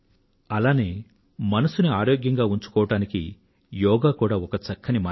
అలాగే మనసును ఆరోగ్యంగా ఉంచుకోవడానికి యోగా కూడా ఒక చక్కని మార్గం